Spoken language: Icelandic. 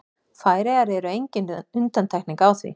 Færeyjar eru engin undantekning á því.